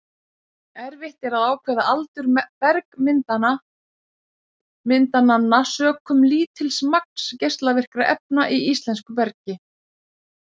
Erfitt er að ákveða aldur bergmyndananna, sökum lítils magns geislavirkra efna í íslensku bergi.